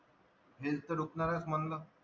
health तर म्हणलं